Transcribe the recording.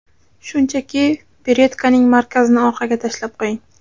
Shunchaki beretkaning markazini orqaga tashlab qo‘ying.